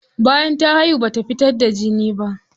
Bayan ta haihu bata fitar da jini ba.